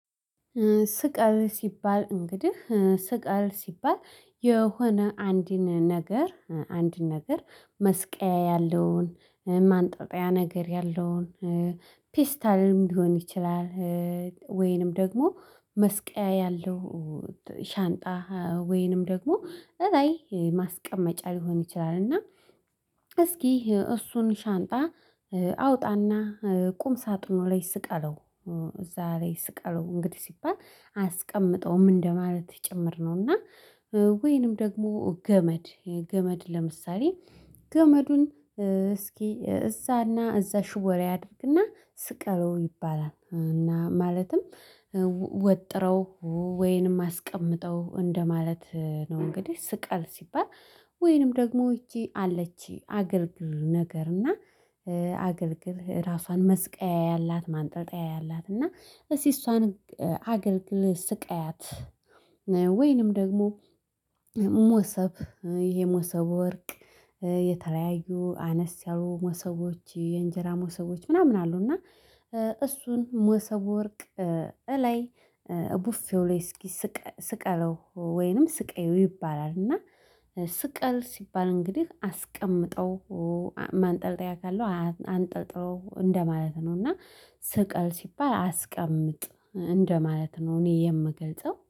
ስቀል ሲባል እንግዲህ ስቀል ሲባል የሆነ አንድን ነገር አንድን ነገር መስቀያ ያለውን ማንጠጣያ ነገር ያለውን ፒስታልም ሊሆን ይችላል። ወይንም ደግሞ መስቀያ ያለው ሻንጣ ወይንም ደግሞ እራይ ማስቀመጫ ሊሆን ይችላል። እና እስኪ እሱን ሻንጣ አውጣና ቁም ሳጥኑ ላይ ስቀለው እዛ ላይ ስቀለው እንግዲህ ሲባል አያስቀምጠውም እንደማለት ጭምር ነው። እና ወይንም ደግሞ ገመድ ገመድ ለምሳሌ ገመዱን እስኪ እዛና እዛ ሽቦ ላይ አድርግና ስቀለው ይባላል። እና ማለትም ወጥረው ወይንም አስቀምጠው እንደማለት ነው። እንግዲህ ስቀል ሲባል ወይንም ደግሞ እቺ አለችኝ አገልግል ነገር እና አገልግል ራሷን መስቀያ ያላት ማንጠልጠያ ያላት እና እሷን አገልግል ስቃያት። ወይንም ደግሞ ሞሰብ ይሄ ሞሰብ ወርቅ የተለያዩ አነስ ያሉ ሞሰቦች የእንጀራ ሞሰቦች ምናምን አሉ እና እሱን ሞሰቦ ወርቅ እላይ ቡፌው ላይ እስኪ ስቀለው ወይንም ስቀየው ይባላል። እና ስቀል ሲባል እንግዲህ አስቀምጠው ማንጠልጠያ ካለው አንጠልጥለው እንደማለት ነው። እና ስቀል ሲባል አስቀምጥ እንደማለት ነው እኔ የምገልጸው